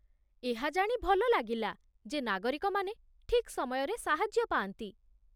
ଏହା ଜାଣି ଭଲ ଲାଗିଲା ଯେ ନାଗରିକମାନେ ଠିକ୍ ସମୟରେ ସାହାଯ୍ୟ ପାଆନ୍ତି